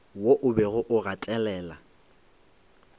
wo o bego o gatelela